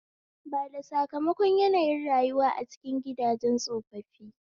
Bada sakamakon yanayin rayuwa a cikin gidajen tsofaffi